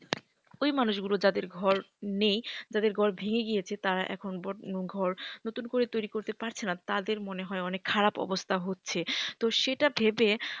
ওই মানুষগুলো যাদের ঘর নেই যাদের ঘর ভেঙে গিয়েছে তারা এখন ঘর নতুন করে তৈরি করতে পারছে না তাদের মনে হয় অনেক খারাপ অবস্থা হচ্ছে। তো সেটা ভেবে,